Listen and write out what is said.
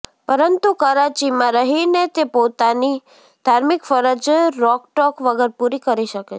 પરંતુ કરાચીમાં રહીને તે પોતાની ધાર્મિક ફરજ રોકટોક વગર પૂરી કરી શકે છે